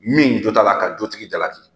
Min jo t'a la ka jotigi jalaki